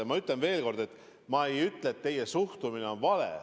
Ja ma ütlen veel kord: ma ei ütle, et teie suhtumine on vale.